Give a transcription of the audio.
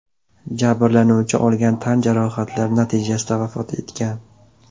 Jabrlanuvchi olgan tan jarohatlari natijasida vafot etgan.